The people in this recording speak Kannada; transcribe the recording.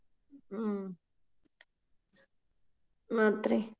ಹೂ ಮತ್ ರಿ.